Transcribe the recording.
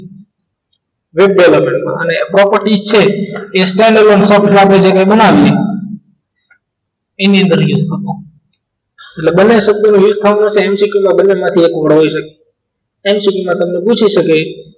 એટલે લગાડતા હોય અને property છે એ standard બનાવીએ ઇંગલિશ તરીકે એટલે બને શબ્દો MCQ માં બંનેમાંથી એક હોઈ શકે એમાં તમને પૂછી શકે